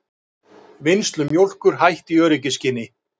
Vinnslu mjólkur hætt í öryggisskyni